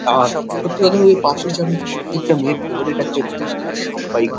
আর সত্যি কথা বলতে পাপড়ী চাট হচ্ছে প্রত্যেকটা মেয়ের ফেভারিট একটা জিনিস যেটা সব্বাই খা--